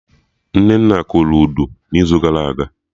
Nnenna kụrụ Udu n'izu gara aga